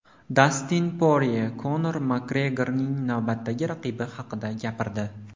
Dastin Porye Konor Makgregorning navbatdagi raqibi haqida gapirdi.